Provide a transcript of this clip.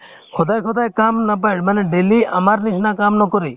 সদায় সদায় কাম নাপাই মানে daily আমাৰ নিচিনা কাম নকৰে